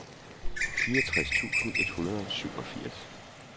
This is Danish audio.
fireogtres tusind et hundrede og syvogfirs